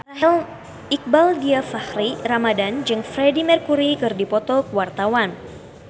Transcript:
Iqbaal Dhiafakhri Ramadhan jeung Freedie Mercury keur dipoto ku wartawan